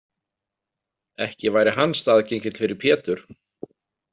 Ekki væri hann staðgengill fyrir Pétur?